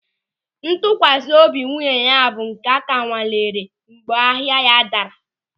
Ntụkwasị obi nwunye ya bụ nke ka anwalere mgbe ahịa ya daara.